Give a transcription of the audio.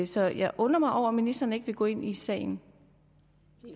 så jeg undrer mig over at ministeren ikke vil gå ind i sagen